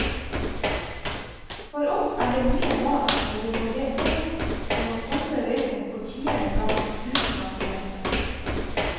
For oss er det mye mas når vi må be folk om å stumpe røyken for tiende gang, uten at det hjelper.